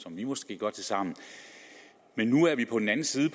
vi måske gør til sammen men nu er vi på den anden side